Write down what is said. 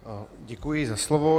Děkuji za slovo.